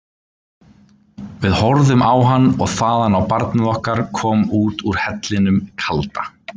Við horfðum á hann og þaðan á barnið okkar koma út úr hellinum kalda.